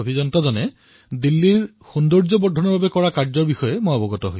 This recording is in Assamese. তেওঁলোকে কিছু সময় পূৰ্বে দিল্লীক স্বচ্ছই নহয় বৰঞ্চ সুন্দৰ কৰি তোলাৰো পদক্ষেপ গ্ৰহণ কৰিছে